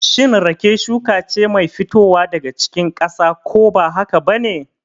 Shin rake shuka ce mai fitowa daga cikin ƙasa, ko ba haka ba ne?